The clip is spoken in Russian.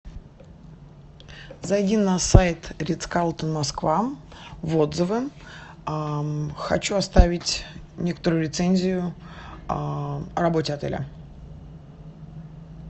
зайди на сайт москва в отзывы а хочу оставить некоторую рецензию о работе отеля